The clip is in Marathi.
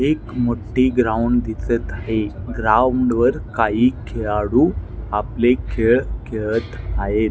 एक मोठी ग्राउंड दिसत आहे ग्राउंड वर काही खेळाडू आपले खेळ खेळत आहेत.